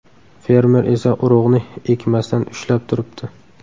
Fermer esa urug‘ni ekmasdan ushlab turibdi.